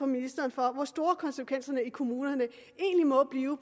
ministeren for hvor store konsekvenserne i kommunerne